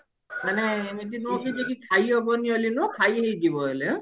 ମାନେ ଏମତି ନୁହଁ ଯେ କି ଖାଇ ହେବନି ବେଲି ନୁହେଁ ଖାଇହେଇ ଯିବ ହେଲେ